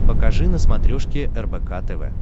покажи на смотрешке рбк тв